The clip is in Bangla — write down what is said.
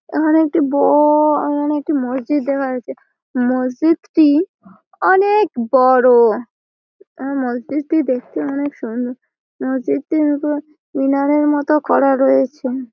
এখানে একটি ব-অ-অ এখানে একটি মসজিদ দেখা যাচ্ছে। মসজিদটি অনে-এক বড়-ও। আ মসজিদ টি দেখতে অনেক সুন্দর। মসজিদটির উপর মিনারের মতো করা রয়েছে।